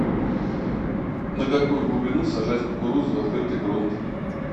на какую глубину сажать кукурузу в открытый грунт